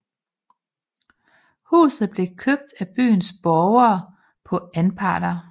Huset blev købt af byens borgere på anparter